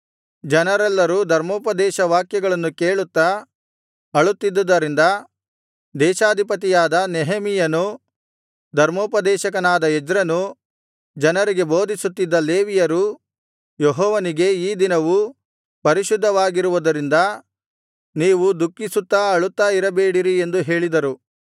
ಜನರೆಲ್ಲರೂ ಧರ್ಮೋಪದೇಶ ವಾಕ್ಯಗಳನ್ನು ಕೇಳುತ್ತಾ ಅಳುತ್ತಿದ್ದುದರಿಂದ ದೇಶಾಧಿಪತಿಯಾದ ನೆಹೆಮೀಯನೂ ಧರ್ಮೋಪದೇಶಕನಾದ ಎಜ್ರನೂ ಜನರಿಗೆ ಬೋಧಿಸುತ್ತಿದ್ದ ಲೇವಿಯರೂ ಯೆಹೋವನಿಗೆ ಈ ದಿನವು ಪರಿಶುದ್ಧವಾಗಿರುವುದರಿಂದ ನೀವು ದುಃಖಿಸುತ್ತಾ ಅಳುತ್ತಾ ಇರಬೇಡಿರಿ ಎಂದು ಹೇಳಿದರು